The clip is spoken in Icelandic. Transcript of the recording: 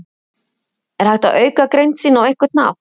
Er hægt að auka greind sína á einhvern hátt?